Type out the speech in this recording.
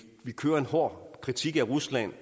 kører en hård kritik af rusland